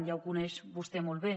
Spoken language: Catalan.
ja ho coneix vostè molt bé